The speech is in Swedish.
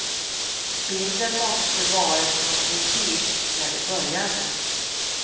Bilden måste varit från precis när vi började.